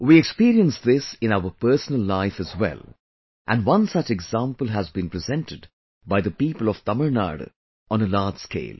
We experience this in our personal life as well and one such example has been presented by the people of Tamil Nadu on a large scale